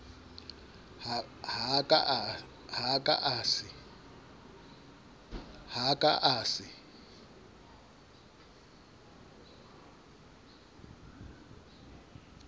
ha a ka a se